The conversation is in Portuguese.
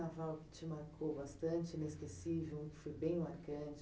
Carnaval que te marcou bastante, inesquecível, foi bem marcante?